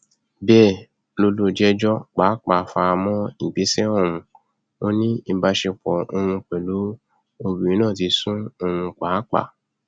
bẹẹ lọlùjẹjọ pàápàá fara mọ ìgbésẹ ọhún ò ní ìbásepọ òun pẹlú obìnrin náà ti sú òun pàápàá